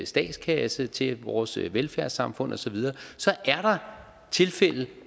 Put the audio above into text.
statskasse til vores velfærdssamfund og så videre så er der tilfælde